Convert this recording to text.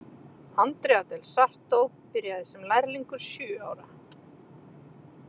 Andrea del Sarto byrjaði sem lærlingur sjö ára.